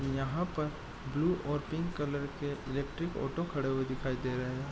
यहां पर ब्लू और पिंक कलर के इलेक्ट्रिक ऑटो खड़े हुए दिखाई दे रहे है।